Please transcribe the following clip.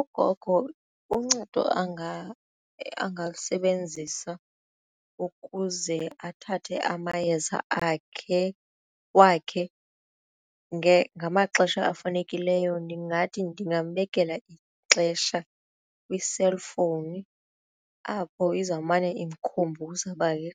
ugogo uncedo angalisebenzisa ukuze athathe amayeza akhe wakhe ngamaxesha afanelekileyo ndingathi ndingambekela ixesha kwi-cellphone apho izawumane imkhumbuza uba ke